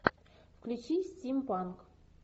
включи стимпанк